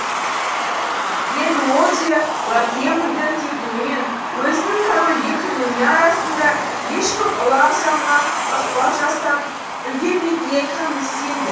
енді ол де ла тремульдің кетуі мен өзінің корольге кіруіне арасында ешкім ұлы ағзамға ықпал жасап үлгірмейтініне кәміл сенді